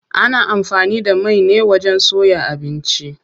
Ana amfani da mai ne wajen soya abinci.